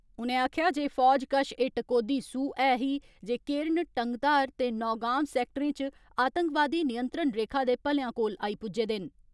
उनें आक्खेया जे फौज कश एह टकोहदी सूह ऐ ही जे केरन, टंगधार ते नौगांव सैक्टरें च आतंकवादी नियंत्रण रेखा दे भलेयां कोल आई पुज्जे देन।